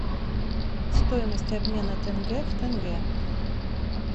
стоимость обмена тенге в тенге